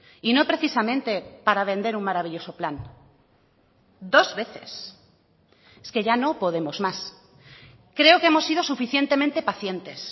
y no precisamente para vender un maravilloso plan dos veces es que ya no podemos más creo que hemos sido suficientemente pacientes